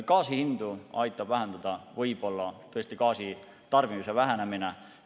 Gaasihindu aitab vähendada võib-olla tõesti gaasitarbimise vähenemine.